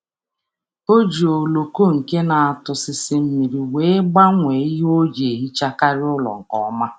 Ọ na-eji ololo na-apịkpọ mmiri wụsa ncha ọ ncha ọ na-ahọrọ nke ọma.